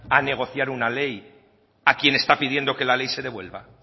a negociar una ley a quien está pidiendo que la ley se devuelva